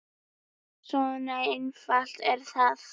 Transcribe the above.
Svona einfalt er það.